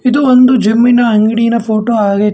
ಇದು ಒಂದು ಜಿಮ್ಮಿನ ಅಂಗಡಿನ ಫೋಟೋ ಆಗೈತೆ.